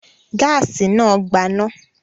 Gáásì náà gbaná?